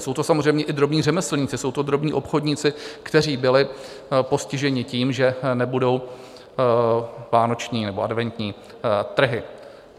Jsou to samozřejmě i drobní řemeslníci, jsou to drobní obchodníci, kteří byli postiženi tím, že nebudou vánoční nebo adventní trhy.